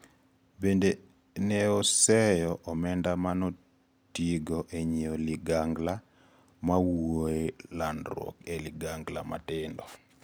Bende neoseyo omenda manotigodo enyieo ligangla mowuoe landruok e ligangla matindo.